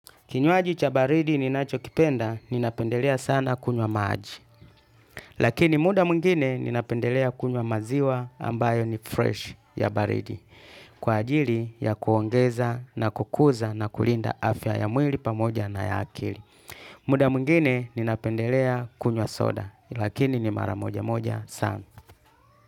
Kinywaji cha baridi ninachokipenda, ninapendelea sana kunywa maji. Lakini muda mwingine ninapendelea kunywa maziwa ambayo ni fresh ya baridi. Kwa ajili ya kuongeza na kukuza na kulinda afya ya mwili pamoja na ya akili. Muda mwingine ninapendelea kunywa soda, lakini ni mara moja moja sana.